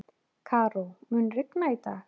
Karó, mun rigna í dag?